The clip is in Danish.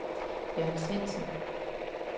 Jørn Svendsen